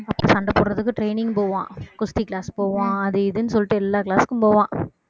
அப்ப சண்டை போடுறதுக்கு training போவான் குஸ்தி class போவான் அது இதுன்னு சொல்லிட்டு எல்லா class க்கும் போவான்